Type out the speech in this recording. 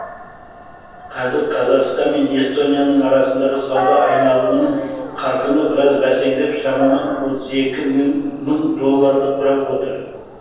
қазір қазақстан мен эстонияның арасындағы сауда айналымының қарқыны біраз бәсеңдеп шамамен отыз екі мың долларды құрап отыр